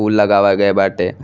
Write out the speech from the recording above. उ लगावा गए बाटे।